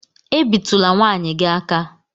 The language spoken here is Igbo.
E bi tula nwaanyị gi aka!